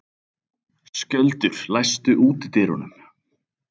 Skjöldur, læstu útidyrunum.